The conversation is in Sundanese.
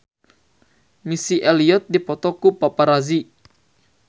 Missy Elliott dipoto ku paparazi